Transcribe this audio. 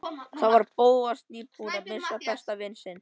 Þá var Bóas nýbúinn að missa besta vin sinn.